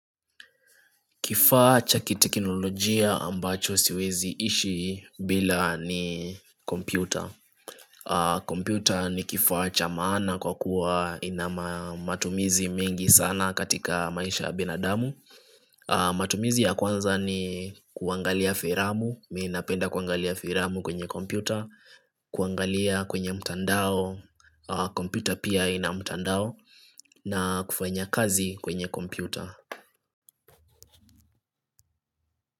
Kifaa cha kiteknolojia ambacho siwezi ishi bila ni kompyuta kompyuta ni kifaa cha maana kwa kuwa ina matumizi mengi sana katika maisha ya binadamu matumizi ya kwanza ni kuangalia filamu, mi napenda kuangalia filamu kwenye kompyuta kuangalia kwenye mtandao, kompyuta pia ina mtandao na kufanya kazi kwenye kompyuta.